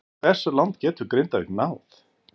Hversu langt getur Grindavík náð?